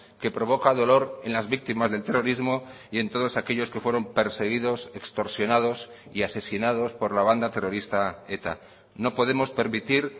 que provoca dolor en las víctimas del terrorismo y en todos aquellos que fueron perseguidos extorsionados y asesinados por la banda terrorista eta no podemos permitir